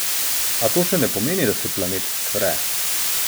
A to še ne pomeni, da se planet cvre.